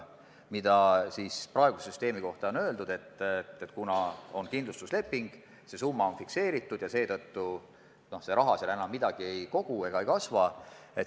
Praeguse süsteemi puhul on kritiseeritud seda, et kui on kindlustusleping, siis summa on fikseeritud ja see raha seal enam midagi ei kogu ega kasvata.